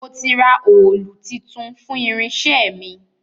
Mo ti ra òòlù titun fún irinṣẹ́ mi